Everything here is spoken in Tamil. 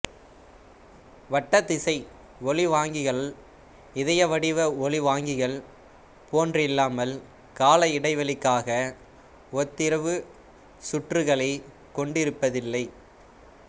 வட்டத்திசை ஒலிவாங்கிகள் இதயவடிவ ஒலிவாங்கிகள் போன்றில்லாமல் காலஇடைவெளிக்காக ஒத்ததிர்வு சுற்றுக்களைக் கொண்டிருப்பதில்லை